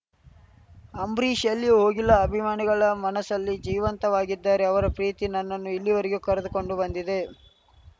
ಅಂಬರೀಷ್‌ ಎಲ್ಲೂ ಹೋಗಿಲ್ಲ ಅಭಿಮಾನಿಗಳ ಮನಸ್ಸಿಲ್ಲಿ ಜೀವಂತವಾಗಿದ್ದಾರೆ ಅವರ ಪ್ರೀತಿ ನನ್ನನ್ನು ಇಲ್ಲಿಯವರೆಗೂ ಕರೆದುಕೊಂಡು ಬಂದಿದೆ